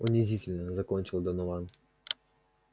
унизительно закончил донован